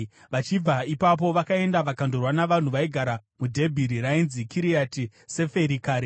Vachibva ipapo, vakaenda vakandorwa navanhu vaigara muDhebhiri (rainzi Kiriati Seferi kare.)